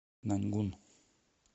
наньгун